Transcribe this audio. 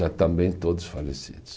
Já também todos falecidos.